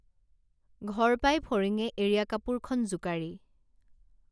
ঘৰ পাই ফৰিঙে এৰীয়া কাপোৰখন জোকাৰি